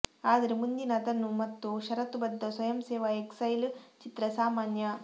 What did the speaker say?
ಆದರೆ ಮುಂದಿನ ಅದನ್ನು ಮತ್ತು ಷರತ್ತುಬದ್ಧ ಸ್ವಯಂಸೇವಾ ಎಕ್ಸೈಲ್ ಚಿತ್ರ ಸಾಮಾನ್ಯ